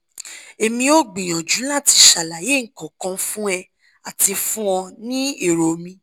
emi o gbiyanju lati ṣalaye nkankan fun e ati fun ọ ni ero mi